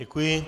Děkuji.